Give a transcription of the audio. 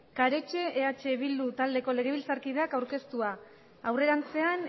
karetxe eh bildu taldeko legebiltzarkideak aurkeztua aurrerantzean